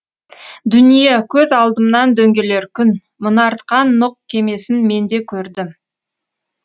дүние көз алдымнан дөңгелер күн мұнартқан нұқ кемесін мен де көрдім